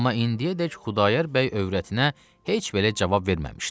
Amma indiyədək Xudayar bəy övrətinə heç belə cavab verməmişdi.